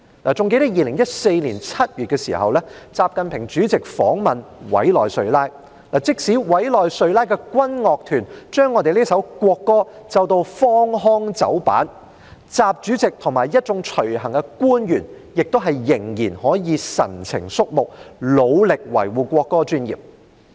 還記得2014年7月習近平主席訪問委內瑞拉，即使委內瑞拉的軍樂團將我們的國歌奏得荒腔走板，習主席和一眾隨行官員仍然可以神情肅穆，努力地維護國歌尊嚴。